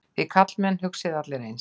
Þið karlmenn hugsið allir eins.